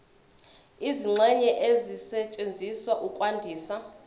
izingxenye ezisetshenziswa ukwandisa